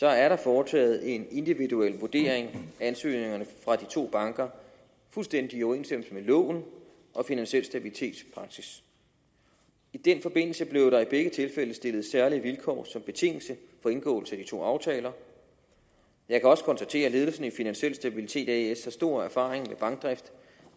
er der foretaget en individuel vurdering af ansøgningerne fra de to banker fuldstændig i overensstemmelse med loven om finansiel stabilitets’ praksis i den forbindelse blev der i begge tilfælde stillet særlige vilkår som betingelse for indgåelse af de to aftaler jeg kan også konstatere at ledelsen af finansiel stabilitet as har stor erfaring med bankdrift